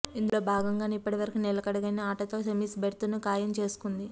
ఇందులో భాగంగానే ఇప్పటి వరకు నిలకడైన ఆటతో సెమీస్ బెర్త్ను ఖాయం చేసుకుంది